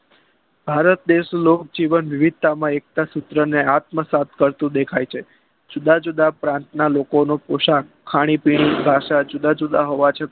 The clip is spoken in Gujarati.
ભારત દેશનો જીવન વિવિધતામાં એકતા ને સૂત્ર આત્મસાથ કરતું દેખાય છે જુદાજુદા ક્રાંતના લોકો નું પોસણ ખાણીપીણી જુદા જુદા હોવા છતાં